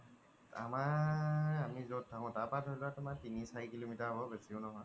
আমাৰ আমি জ'ত থাকু তাৰ পৰা ধৰি লুৱা তিনি চাৰি kilometer হ্'ব বেচিও নহয়